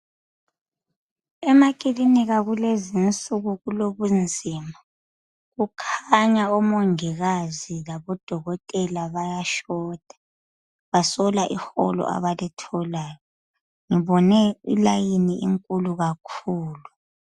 Emakilinika kulezinsuku kulobunzima kukhanya omongikazi labodokotela bayashota basola iholo abalitholayo ngibone i"line " inkulu kakhulu.